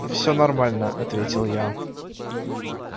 всё нормально ответил я